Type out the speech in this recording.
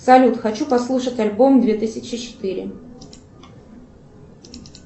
салют хочу послушать альбом две тысячи четыре